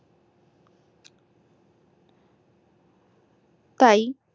তাই